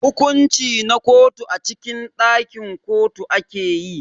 hukunci na kotu a cikin dakin kotu akeyi.